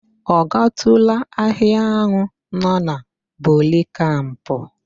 Ọ gatụụla ahịa ahụ nọ na Bori Kamp?